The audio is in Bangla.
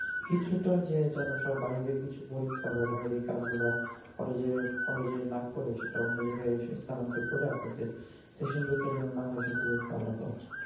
কিছুটা যে যেন সব বাইরের কিছু পরীক্ষা বা বাইরের কাজগুলা কলেজে কলেজে না করে অন্য জায়গায় স্থানান্তর কইরা আপনাদের session জটটা যাতে না হয় সে দিকে খেয়াল রাখা উচিত।